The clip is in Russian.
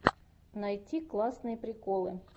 найти классные приколы